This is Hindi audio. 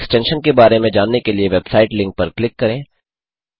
एक्सटेंशन के बारे में जानने के लिए वेबसाइट लिंक पर क्लिक करें